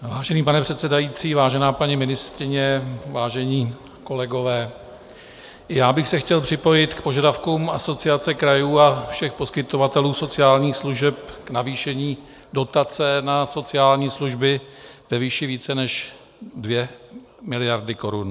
Vážený pane předsedající, vážená paní ministryně, vážení kolegové, já bych se chtěl připojit k požadavkům Asociace krajů a všech poskytovatelů sociálních služeb k navýšení dotace na sociální služby ve výši více než 2 miliardy korun.